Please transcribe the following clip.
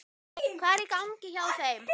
Hvað er í gangi hjá þeim?